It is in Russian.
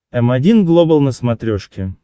м один глобал на смотрешке